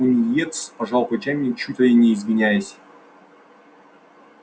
пониетс пожал плечами и чуть ли не извиняясь